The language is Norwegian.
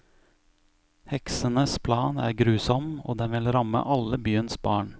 Heksenes plan er grusom, og den vil ramme alle byens barn.